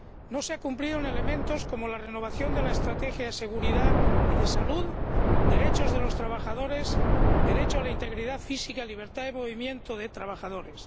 No se ha cumplido en elementos como la renovación de la estrategia de seguridad y de salud, derechos de los trabajadores, derecho a la integridad física y libertad de movimiento de trabajadores.